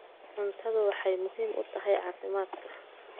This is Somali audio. Cuntadu waxay muhiim u tahay caafimaadka.